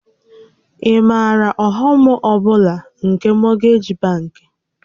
Ị maara ọghọm ọ bụla nke mọgeeji bankị?